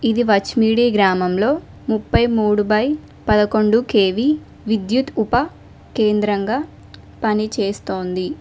ఇది వచ్మీడి గ్రామంలో ముప్పై మూడు బై పదకొండు కెవి విద్యుత్ ఉప కేంద్రంగా పనిచేస్తోంది.